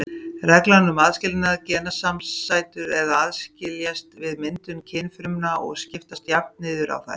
Reglan um aðskilnað: Genasamsætur aðskiljast við myndun kynfrumna og skiptast jafnt niður á þær.